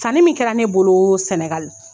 Sanni min kɛra ne bolo sɛnɛgal